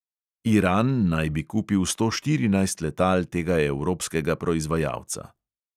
Iran naj bi kupil sto štirinajst letal tega evropskega proizvajalca.